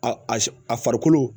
A a farikolo